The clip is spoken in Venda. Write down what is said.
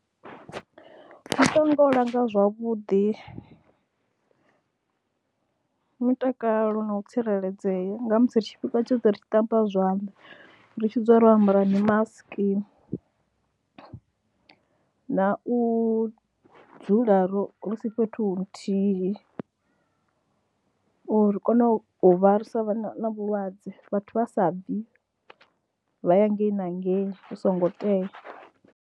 Muṱa wanga u langa zwavhuḓi mutakalo na u tsireledzea nga musi ri tshifhinga tshoṱhe ri tshi ṱamba zwanḓa, ri tshi dzula ro ambara mimasiki na u dzula ro ri si fhethu huthihi uri ri kone u vha sa vha na vhulwadze, vhathu vha sa bvi vha ya ngei na ngei hu songo tea.